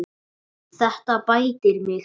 Þetta bætir mig.